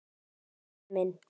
Stjáni minn.